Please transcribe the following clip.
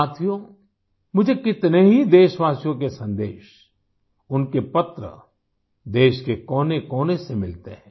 साथियों मुझे कितने ही देशवासियों के संदेश उनके पत्र देश के कोनेकोने से मिलते हैं